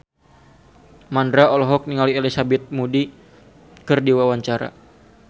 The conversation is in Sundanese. Mandra olohok ningali Elizabeth Moody keur diwawancara